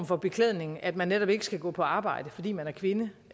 for beklædning at man netop ikke skal gå på arbejde fordi man er kvinde